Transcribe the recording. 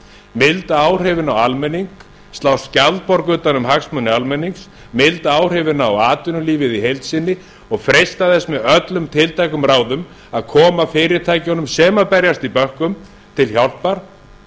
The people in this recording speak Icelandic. milda áhrifin á almenning slá skjaldborg utan um hagsmuni almennings milda áhrifin á atvinnulífið í heild sinni og freista þess með öllum tiltækum ráðum að koma fyrirtækjunum sem berjast í bökkum til hjálpar